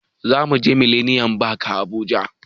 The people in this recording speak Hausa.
Zamuje mileniyam fak a habuja